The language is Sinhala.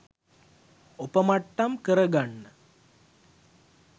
ඔපමට්ටම් කරගන්න